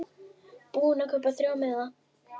Búinn að kaupa þrjá miða.